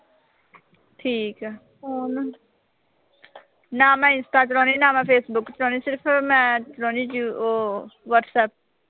ਠੀਕ ਆ। ਨਾ ਮੈਂ ਇੰਸਟਾ ਚਲਾਉਣੀ ਆਂ, ਨਾ ਮੈਂ ਫੇਸਬੁੱਕ ਚਲਾਉਣੀ ਆਂ। ਸਿਰਫ਼ ਮੈਂ ਚਲਾਉਣੀ ਆਂ ਅਹ ਵਟਸਐਪ।